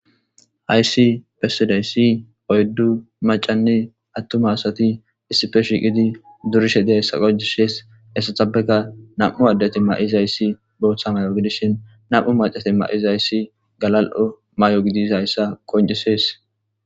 Hayssi pessiday si oyddu macanni attuma asati issife shiiqidi durishe diyayssa qojishees essatabeka nam'u addati ma'izayssi booththa may'o gidishin nam'u macati ma'izayssi galal'o may'o gidis hayssa qoncises.